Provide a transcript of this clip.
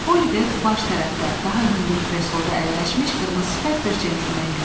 Oliver baş tərəfdə daha hündür kresloda əyləşmiş qırmızı sifət bir cəntlmen gördü.